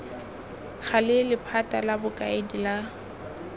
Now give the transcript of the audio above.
gale lephata la bokaedi la